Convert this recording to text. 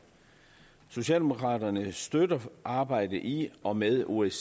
socialdemokraterne støtter arbejdet i og med osce